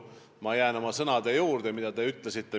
Ma jään oma sõnade juurde, mida te ka mainisite.